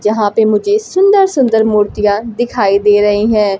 जहां पे मुझे सुंदर सुंदर मूर्तियां दिखाई दे रहे हैं।